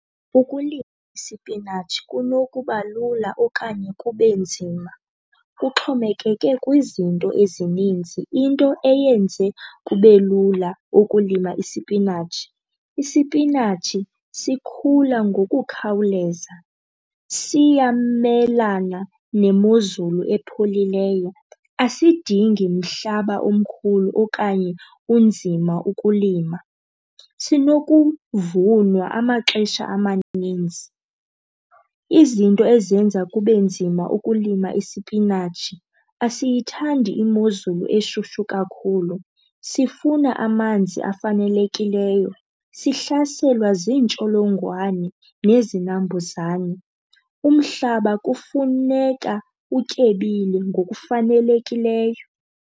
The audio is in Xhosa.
Ukulima isipinatshi kunokuba lula okanye kube nzima, kuxhomekeke kwizinto ezininzi. Into eyenze kube lula ukulima isipinatshi, isipinatshi sikhula ngokukhawuleza, siyamelana nemozulu epholileyo, asidingi mhlaba omkhulu okanye unzima ukulima, sinokuvunwa amaxesha amaninzi. Izinto ezenza kube nzima ukulima isipinatshi, asiyithandi imozulu eshushu kakhulu, sifuna amanzi afanelekileyo, sihlaselwa ziintsholongwane nezinambuzane. Umhlaba kufuneka utyebile ngokufanelekileyo.